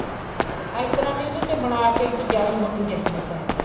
ਅਰ ਇਸ ਤਰ੍ਹਾਂ ਦੀ ਉਹਦੇ ਤੇ ਬਣਾਕੇ ਇੱਕ ਜਾਲੀ ਲਾਉਣੀ ਚਾਹੀਦੀ ਪੈਪ ਤੇ